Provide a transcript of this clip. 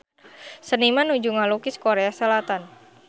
Seniman nuju ngalukis Korea Selatan